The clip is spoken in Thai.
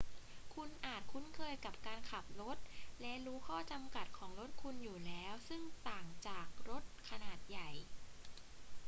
คุณอาจคุ้นเคยกับการขับรถและรู้ข้อจำกัดของรถคุณอยู่แล้ว ซึ่งต่างจากรถขนาดใหญ่